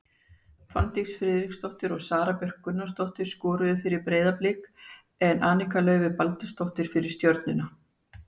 Fanndís Friðriksdóttir og Sara Björk Gunnarsdóttir skoruðu fyrir Breiðablik en Anika Laufey Baldursdóttir fyrir Stjörnuna.